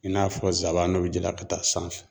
I n'a fɔ zaban n'o bi jɛla ka taa sanfɛ